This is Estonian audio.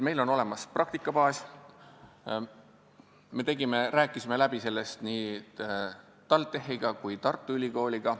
Meil on olemas praktikabaas ja me rääkisime oma plaani läbi nii TalTechi kui ka Tartu Ülikooliga.